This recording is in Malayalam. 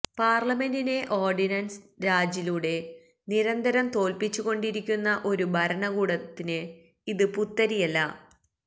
പാര്ലമെന്റിനെ ഒാര്ഡിനന്സ് രാജിലൂടെ നിരന്തരം തോല്പ്പിച്ചുകൊണ്ടിരിക്കുന്ന ഒരു ഭരണകൂടത്തിന് ഇത് പുത്തിരിയല്ല